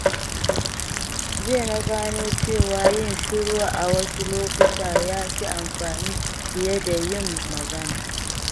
Jiya na gano cewa yin shiru a wasu lokuta ya fi amfani fiye da yin magana.